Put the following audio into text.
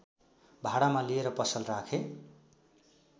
भाडामा लिएर पसल राखे